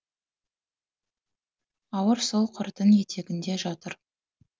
ауыр сол қырдың етегінде жатыр